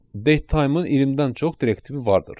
Datetime-ın 20-dən çox direktivi vardır.